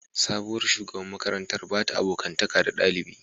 Sabuwar shugaban makarantar ba ta abokantaka da dalibi